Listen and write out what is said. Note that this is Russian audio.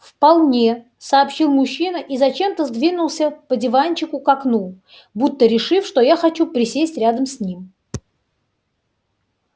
вполне сообщил мужчина и зачем-то сдвинулся по диванчику к окну будто решив что я хочу присесть рядом с ним